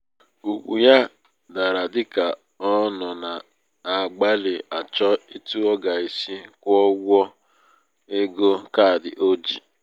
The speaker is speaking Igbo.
ugwu ya dara dị ka ọ nọ na-agbalị achọ etu ọ ga-esi kwụọ ụgwọ ụgwọ ego kaadị o ji.